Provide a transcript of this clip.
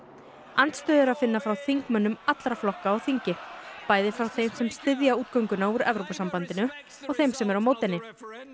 andstöðu er að finna frá þingmönnum allra flokka á þingi bæði frá þeim sem styðja útgöngu úr Evrópusambandinu og þeim sem eru á móti henni